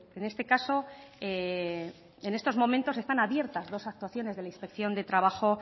en este caso en estos momentos están abiertas dos actuaciones de la inspección de trabajo